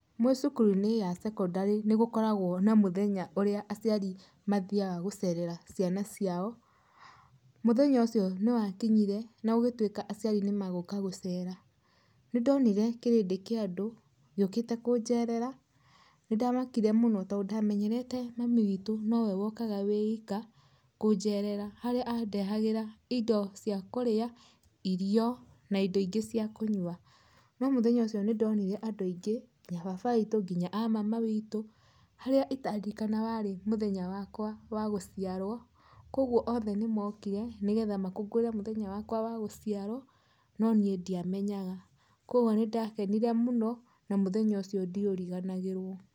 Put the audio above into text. Mwĩ cukuru-inĩ ya secondary nĩgũkoragwo na mũthenya ũrĩa aciari mathiaga gũcerera ciana ciao, mũthenya ũcio nĩwakinyire na gũgĩtuĩka aciari nĩmegũka gũceera. Nĩndonire kĩrĩndĩ kĩa andũ gĩũkite kũnjerera, nĩndamakire mũno to ndamenyerete mami witu nowe wokaga wiika kũnjerera, harĩa andehagĩra indo cia kũrĩa, irio na indo ingĩ cia kũnyua. No mũthenya ũcio nĩndonire andũ aingĩ nginya baba witũ, nginya a mama witũ, harĩa itaririkanaga warĩ mũthenya wakwa wa gũciarwo, kwogwo othe nĩmokire nĩgetha makũngũĩre mũthenya wakwa wa gũciarwo, no niĩ ndiamenyaga. Kwogwo nĩndakenire mũno na mũthenya ũcio ndiũriganagĩrwo.